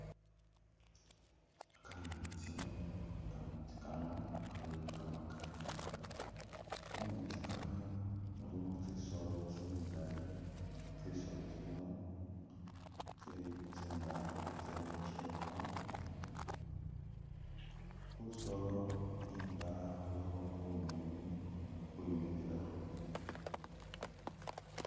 Kametsi, kametsi kano kali kamakali ,mu metsi kano mulimo tsisoolo tsingali, tsisoolo tsino tsili tsingafu tsye mukyewa ,khusoolo khundaya khulikho bunywinywi bwimikhilekho